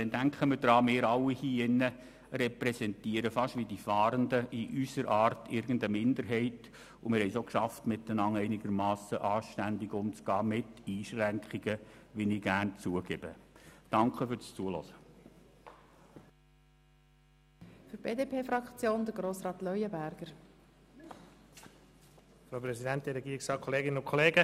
Denn denken wir daran: Wir alle hier in diesem Saal repräsentieren beinahe wie die Fahrenden in unserer Art irgendeine Minderheit, und wir haben es auch geschafft, einigermassen anständig miteinander umzugehen, wenn auch mit Einschränkungen, wie ich gerne zugeben.